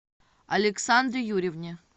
александре юрьевне